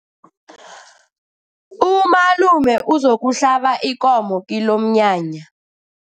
Umalume uzokuhlaba ikomo kilomnyanya.